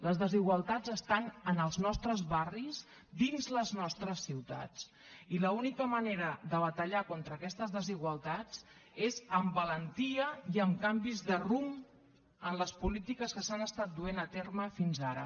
les desigualtats estan en els nostre barris dins les nostres ciutats i l’única manera de batallar contra aquestes desigualtats és amb valentia i amb canvis de rumb en les polítiques que s’han estat duent a terme fins ara